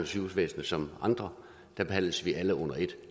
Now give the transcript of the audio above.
sygehusvæsenet som andre da behandles vi alle under et